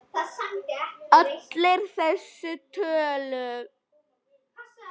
Allar þessar tölur.